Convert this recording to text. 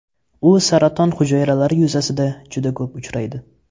U saraton hujayralari yuzasida juda ko‘p uchraydi.